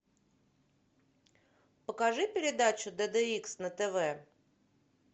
покажи передачу д д икс на тв